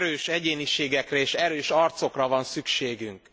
Hogy erős egyéniségekre és erős arcokra van szükségünk.